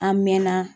An mɛɛnna